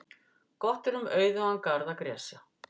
Gott er um auðugan garð að gresja.